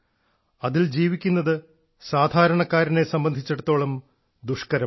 അതിൽ ജീവിക്കുന്നത് സാധാരണക്കാരനെ സംബന്ധിച്ചിടത്തോളം ദുഷ്കരമാണ്